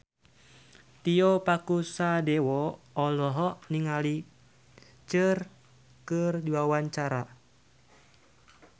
Tio Pakusadewo olohok ningali Cher keur diwawancara